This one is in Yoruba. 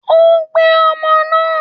Ó ń gbé ọmọ náà.